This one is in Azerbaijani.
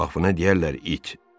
Va buna deyərlər it.